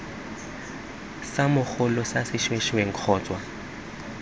sa mogolo sa sešwengšeng kgotsa